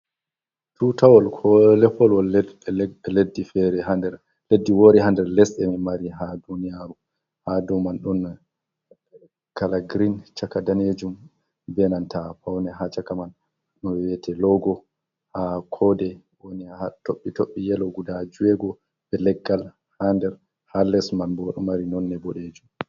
Tuutawal ko leppowol leddi feere, haa nder leddi woori haa nder lesɗe en mari haa duuniyaaru, haa ɗo man ɗon kala girin, caka daneejum, be nanta pawne haa caka man, no we`ete loogo haa koode woni haa toɓɓe toɓe yelo guda joweego, be leggal haa nder haa les man bo ɗo mari nonnde boɗeejum.